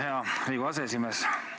Hea Riigikogu aseesimees!